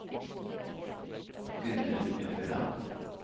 Gudrun Ueland